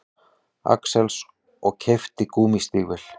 Axels og keypti gúmmístígvél.